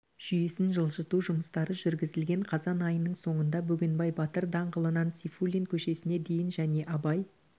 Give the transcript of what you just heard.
жүйесін жылжыту жұмыстары жүргізілген қазан айының сонында бөгенбай батыр даңғылынан сейфуллин көшесіне дейін және абай